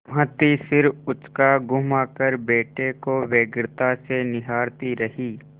भाँति सिर उचकाघुमाकर बेटे को व्यग्रता से निहारती रही